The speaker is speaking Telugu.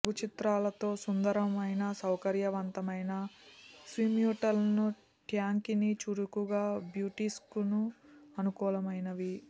లఘు చిత్రాలతో సుందరమైన సౌకర్యవంతమైన స్విమ్సూట్లను ట్యాంకిని చురుకుగా బ్యూటీస్కు అనుకూలమైనవి